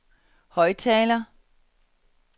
højttaler